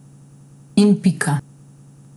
In pika.